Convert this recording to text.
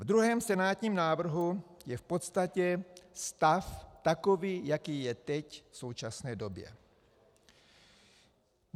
Ve druhém, senátním návrhu je v podstatě stav takový, jaký je teď v současné době.